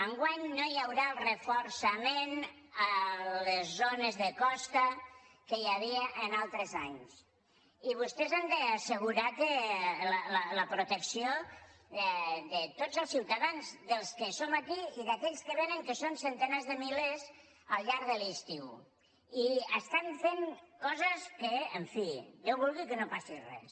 enguany no hi haurà el reforçament a les zones de costa que hi havia altres anys i vostès han d’assegurar la protecció de tots els ciutadans dels que som aquí i d’aquells que vénen que són centenars de milers al llarg de l’estiu i estan fent coses que en fi déu vulgui que no passi res